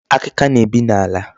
Akịka na-ebi n'ala.